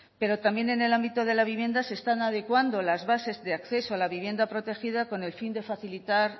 pero también en el ámbito de la vivienda se están adecuando las bases de acceso a la vivienda protegida con el fin de facilitar